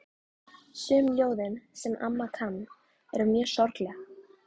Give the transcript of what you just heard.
Sum ljóðin, sem amma kann, eru mjög sorgleg.